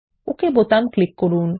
ওকে button click করুন